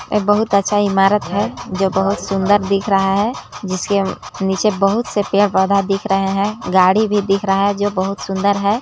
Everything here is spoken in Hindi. एक बहुत अच्छा ईमारत है जो बहुत सुंदर दिख रहा हैं जिसके नीचे बहूत से पेड़ -पौधा दिख रहे हैं गाड़ी भी दिख रहा है जो बहुत सुंदर हैं।